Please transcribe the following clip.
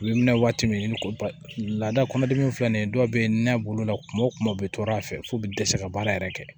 U bɛ minɛ waati min ko lada kɔnɔdimi in filɛ nin ye dɔw bɛ nɛ b'o la kuma o kuma u bɛ to a fɛ k'u bɛ dɛsɛ ka baara yɛrɛ kɛ